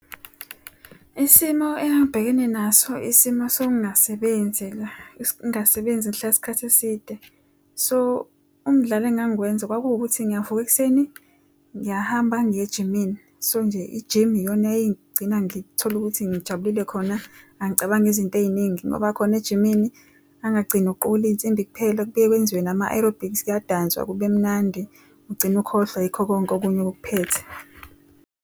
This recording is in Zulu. Isimo engangibhekene naso isimo sokungasebenzi ngingasebenzi ngihlale isikhathi eside. So umdlalo engangiwenza kwakuwukuthi ngiyavuka ekuseni, ngiyahamba ngiye ejimini. So nje i-gym iyona eyayingigcina ngithole ukuthi ngijabule khona. Angicabangi izinto iy'ningi ngoba khona ejimini ngangagcina ngokuqukula iy'nsimbi kuphela. Kubuye kwenziwe nama-aerobics, kuyadanswa kube mnandi. Ugcine ukhohlwa yikho konke okunye okukuphethe.